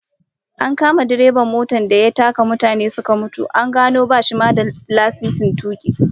An kama direban motar da ya taka mutane suka mutu, an gano bashi ma da lasisin tuki